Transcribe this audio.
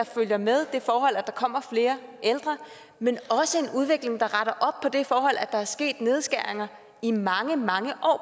følger med det forhold at der kommer flere ældre men også en udvikling der retter op på det forhold at der er sket nedskæringer i mange mange